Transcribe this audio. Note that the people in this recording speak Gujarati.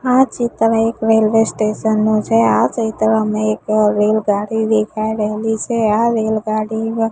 આ ચિત્ર એક રેલ્વે સ્ટેશન નું છે આ ચિત્રમાં એક રેલગાડી દેખાય રહેલી છે આ રેલગાડી--